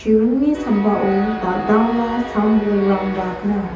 sambao dal·dala sam bolrangba gnang.